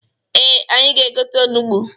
Ee, anyị ga-egote onugbu.